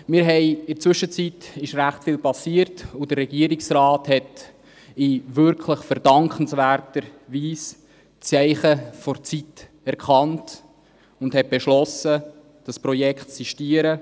In der Zwischenzeit ist recht viel passiert, und der Regierungsrat hat in wirklich verdankenswerter Weise die Zeichen der Zeit erkannt und beschlossen, das Projekt zu sistieren.